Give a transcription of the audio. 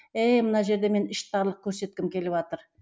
еее мына жерде мен іштарлық көрсеткім келіватыр